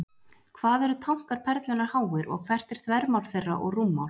Hvað eru tankar Perlunnar háir, og hvert er þvermál þeirra og rúmmál?